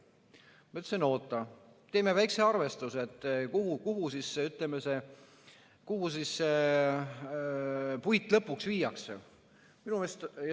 Ma ütlesin, oota, teeme väikse arvestuse, kuhu siis see puit lõpuks viiakse.